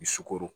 I sukoro